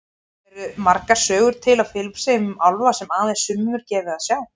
Eru margar sögur til á Filippseyjum um álfa sem aðeins sumum er gefið að sjá?